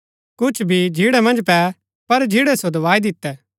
कुछ बी झिन्ड़ा मन्ज पै पर झिन्ड़ै सो दबाई दितै